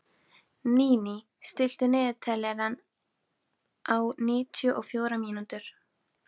Níní, stilltu niðurteljara á níutíu og fjórar mínútur.